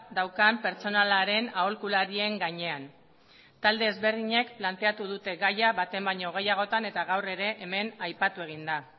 daukan pertsonalaren aholkularien gainean talde desberdinek planteatu dute gaia baten baino gehiagotan eta gaur ere hemen aipatu egin da